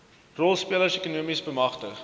rolspelers ekonomies bemagtig